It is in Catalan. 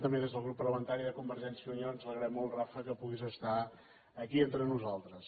també des del grup parlamentari de convergència i unió ens alegrem molt rafa que puguis estar aquí entre nosaltres